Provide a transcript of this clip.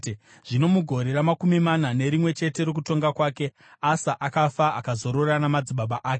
Zvino mugore ramakumi mana nerimwe chete rokutonga kwake, Asa akafa akazorora namadzibaba ake.